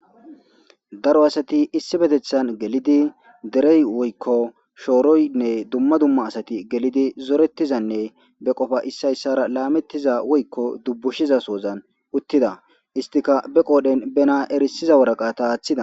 Daro asati issi betethan gelidi derey woykko shooroynne dumma dumma asati gelidi zoretizanne be qofa issayssara laamettiza woykko dubbushiza soozan uttida istika be qoodhen benaa erisiza woraqata aaththida.